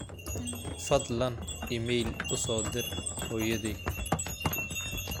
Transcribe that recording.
fadlan iimayl u soo dir hooyaday